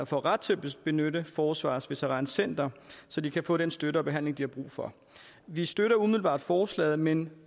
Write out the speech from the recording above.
får ret til at benytte forsvarets veterancenter så de kan få den støtte og behandling de har brug for vi støtter umiddelbart forslaget men